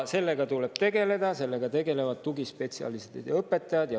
Sellega tuleb tegeleda ja sellega tegelevadki tugispetsialistid ja õpetajad.